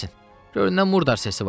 Gör nə murdar səsi var!